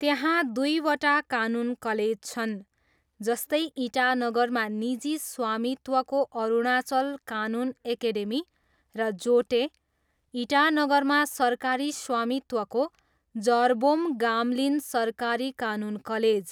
त्यहाँ दुईवटा कानुन कलेज छन्, जस्तै, इटानगरमा निजी स्वामित्वको अरुणाचल कानुन एकेडेमी र जोटे, इटानगरमा सरकारी स्वामित्वको जरबोम गाम्लिन सरकारी कानुन कलेज।